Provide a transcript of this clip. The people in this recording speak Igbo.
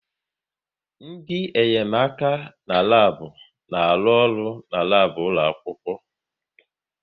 Ndị enyemaka n'labu na-arụ ọrụ n'labu ụlọ akwụkwọ